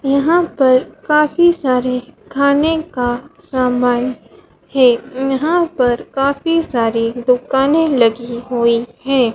यहां पर काफी सारे खाने का समान है यहां पर काफी सारी दुकानें लगी हुई है।